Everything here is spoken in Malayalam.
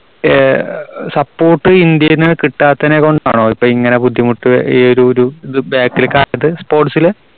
ആഹ് support ഇന്ത്യ കിട്ടാത്തത് ഇങ്ങനെ ബുദ്ധിമുട്ട് ഈ ഒരു ഒരു sports ല്